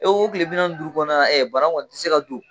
o tile bi naani duuru kɔnɔna bana kɔni ti se ka don.